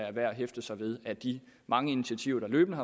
er værd at hæfte sig ved at de mange initiativer der løbende